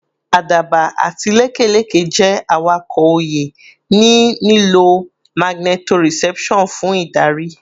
Àdàbà àti lekeleke jẹ́ awakọ̀ òye, ní lílo magnetoreception fún ìdarí